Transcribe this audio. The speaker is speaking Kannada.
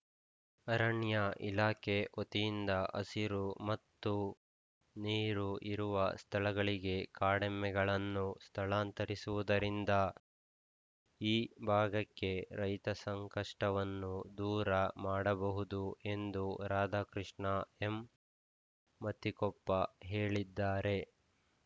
ಅರಣ್ಯ ಇಲಾಖೆ ವತಿಯಿಂದ ಹಸಿರು ಮತ್ತು ನೀರು ಇರುವ ಸ್ಥಳಗಳಿಗೆ ಕಾಡೆಮ್ಮೆಗಳನ್ನು ಸ್ಥಳಾಂತರಿಸುವುದರಿಂದ ಈ ಭಾಗಕ್ಕೆ ರೈತ ಸಂಕಷ್ಟವನ್ನು ದೂರ ಮಾಡಬಹುದು ಎಂದು ರಾಧಾಕೃಷ್ಣ ಎಮ್‌ ಮತ್ತಿಕೊಪ್ಪ ಹೇಳಿದ್ದಾರೆ